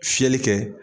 Fiyɛli kɛ